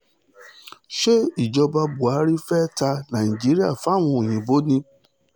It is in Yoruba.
ṣé ìjọba buhari fee ta nàíjíríà fáwọn òyìnbó ni